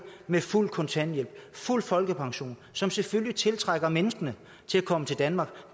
med fuld kontanthjælp fuld folkepension som selvfølgelig tiltrækker menneskene til at komme til danmark